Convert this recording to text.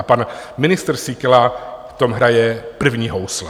A pan ministr Síkela v tom hraje první housle.